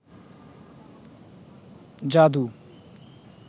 জাদু